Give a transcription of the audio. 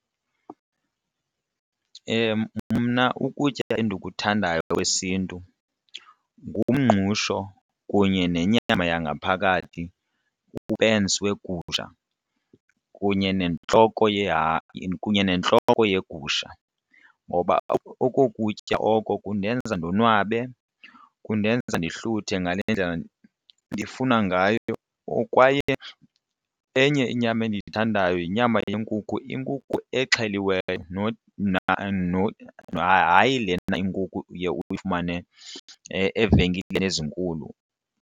Mna ukutya endikuthandayo kwesiNtu ngumngqusho kunye nenyama yangaphakathi upensi wegusha kunye nentloko kunye nentloko yeegusha ngoba oko kutya oko kundenza ndonwabe, kundenza ndihluthe ngale ndlela ndifuna ngayo kwaye enye inyama endiyithandayo yinyama yenkukhu, inkukhu exheliweyo hayi lena inkukhu uye uyifumane evenkileni ezinkulu.